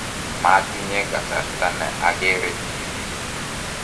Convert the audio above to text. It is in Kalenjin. matinye kasarta ne agere TV